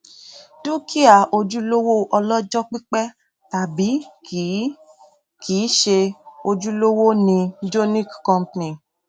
dúkìá ojúlówó ọlọjọ pípẹ tàbí kìí kìí ṣe ojúlówó ni jonick company